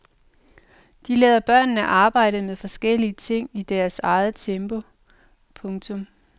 De lader børnene arbejde med forskellige ting i deres eget tempo. punktum